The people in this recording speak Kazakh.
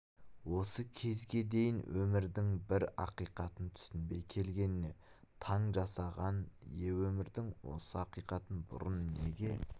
осы кезге дейін өмірдің бір ақиқатын түсінбей келгеніне таң жасаған ие өмірдің осы ақиқатын бұрын неге